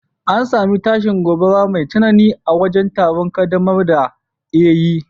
an yi tashin gobara mai tsanani a wajen taron kaddamar da Eiye